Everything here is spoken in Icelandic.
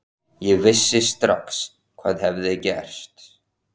Ég vissi strax hvað hafði gerst.